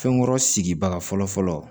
Fɛnkɔrɔ sigibaga fɔlɔfɔlɔ